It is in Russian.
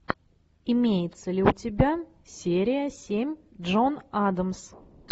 имеется ли у тебя серия семь джон адамс